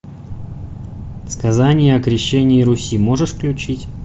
сказание о крещении руси можешь включить